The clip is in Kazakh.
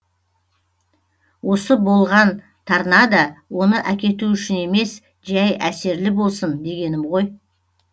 осы болған торнадо оны әкету үшін емес жәй әсерлі болсын дегенім ғой